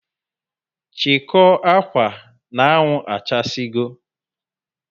Chikoo akwa n' anwụ achasi go